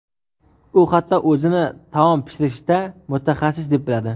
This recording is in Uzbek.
U hatto o‘zini taom pishirishda mutaxassis deb biladi.